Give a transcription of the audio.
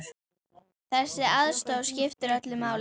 Þessi aðstoð skiptir öllu máli.